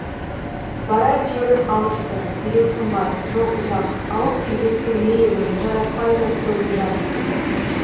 барар жерім алыс ты билет қымбат жол ұзақ ауып келген кірме едім жаратпайды көбі жат